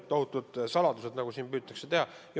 Kas tohutud saladused, nagu siin püütakse muljet jätta?